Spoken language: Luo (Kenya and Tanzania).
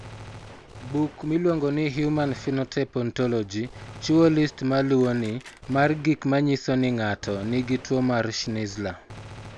Buk miluongo ni Human Phenotype Ontology chiwo list ma luwoni mar gik ma nyiso ni ng'ato nigi tuwo mar Schnitzler.